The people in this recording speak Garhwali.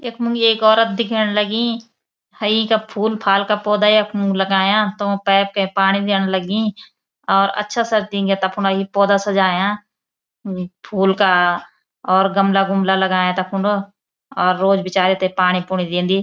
यखमुं एक औरत दिखेंण लगीं हयी का फूल-फाल का पौधा यखमुं लगायाँ तों पैप के पाणी देन लगीं और अच्छा सा दिन्ग्या तख्फुना यी पौधा सजायाँ फूल का और गमला-गुमला लगायाँ तख्फुन और रोज बिचारी ते पाणी-पूनी देंदी।